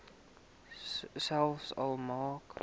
selfs al maak